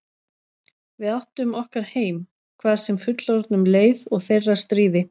Við áttum okkar heim, hvað sem fullorðnum leið og þeirra stríði.